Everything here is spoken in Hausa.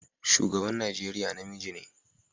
Shugaban Najeriya namiji ne.